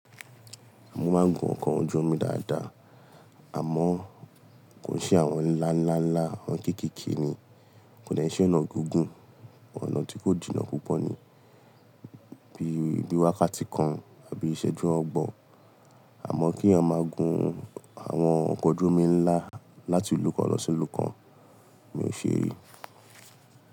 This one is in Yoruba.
Mo máa ń gun ọkọ̀ ojú omi dáadáa, àmọ́ kò sí àwọn ńláńláńlá, àwọn kéékèèké ni. Kò ní ṣe ọ̀nà gígùn, ọ̀nà tí kò jìnnà púpọ̀ ni, bí i wákàtí kan àbí ìṣẹ́jú ọgbọ̀n. Àmọ́ kí èèyàn máa gun àwọn ọkọ̀ ojú omi ńlá láti ìlú kan lọ sí ìlú kan, mi ò ṣe èyí.